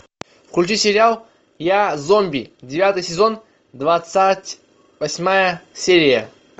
включи сериал я зомби девятый сезон двадцать восьмая серия